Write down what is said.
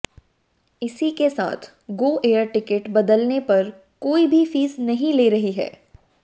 इसी के साथ गो एयर टिकट बदलने पर कोई भी फीस नहीं ले रही है